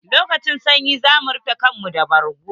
Lokacin sanyi za mu rufe kanmu da bargo.